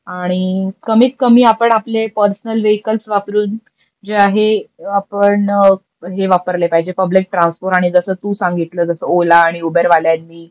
आणि कमीत कमी आपण आपले परसनल वेहीकल्स वापरून जे आहे आपण हे वापरले पाहिजे पुब्लिक ट्रान्सपोर्ट आणि जस तु सांगितल जस ओला आणि ऊबेर वाल्यांनी